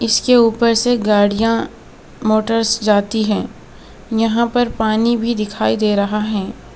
इसके ऊपर से गाड़ियां मोटर्स जाती है यहां पर पानी भी दिखाई दे रहा है.